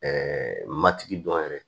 matigi dɔn yɛrɛ